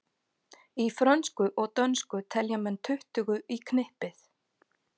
Í frönsku og dönsku telja menn tuttugu í knippið.